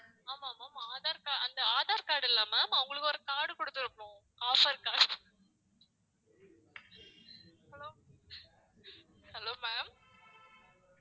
ஆமா ma'am aadhar car~ அந்த aadhar card இல்லை ma'am அவங்களுக்கு ஒரு card குடுத்திருப்போம் offer card hello hello ma'am